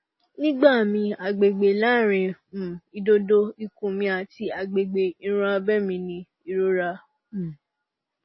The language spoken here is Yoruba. nígbà míì agbègbè láàárín um ìdodo ikùn mi àti agbègbè irun abẹ́ mi ni ìrora um